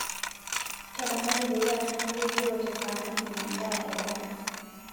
ntadamuaki peyie atumore Joe tesaa nikinya endaa edama